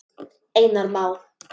Einar Má.